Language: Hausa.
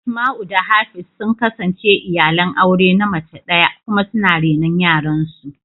Asmau da Hafiz sun kasance iyalan aure na mace daya kuma suna renon yaran su.